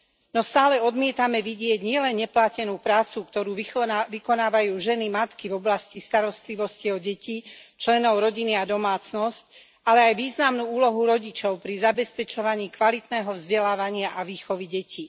No stále odmietame vidieť nielen neplatenú prácu, ktorú vykonávajú ženy matky v oblasti starostlivosti o deti, členov rodiny a domácnosť, ale aj významnú úlohu rodičov pri zabezpečovaní kvalitného vzdelávania a výchovy detí.